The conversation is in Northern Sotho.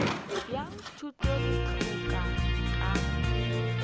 bja thuto le tlhahlo ka